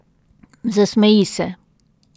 Zasmeji se.